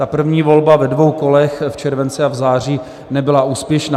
Ta první volba ve dvou kolech, v červenci a v září, nebyla úspěšná.